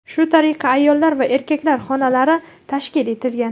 Shu tariqa ayollar va erkaklar xonalari tashkil etilgan.